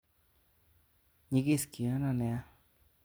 Nyikis kiono nia